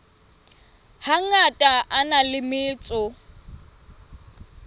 hangata a na le metso